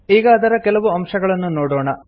ಈಗ ಅದರ ಕೆಲವು ಅಂಶಗಳನ್ನು ನೋಡೊಣ